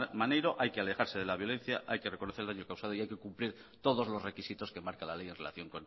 maneiro hay que alejarse de la violencia hay que reconocer el daño causado y hay que cumplir todos los requisitos que marca la ley en relación